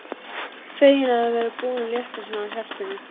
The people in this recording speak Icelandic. Fegin að vera búin að létta svona á hjartanu.